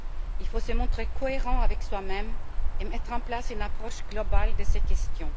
Il faut se montrer cohérents avec soi même et mettre en place une approche globale de ces questions.